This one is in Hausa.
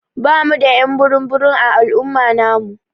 Ɓamu da y'an burum burum a al'umma namu.